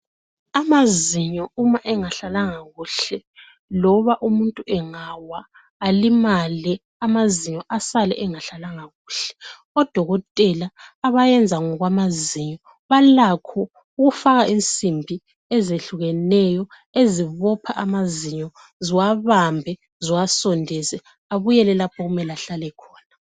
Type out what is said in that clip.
amazinyo uma engahlalanga kuhle loba umuntu engawa alimale amazinyo esale engahlalanga kahle odokotela abayenza ngokwamazinyo balakho ukufaka insimbi ezihlukeneyo ezibopha amazinyo ziwabambe ziwasondeze abuyele lapho ahlala khona.